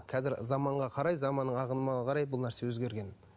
қазір заманға қарай заманның ағымына қарай бұл нәрсе өзгерген